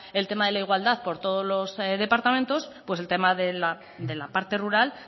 el tema de la igualdad por todos los departamentos pues el tema de la parte rural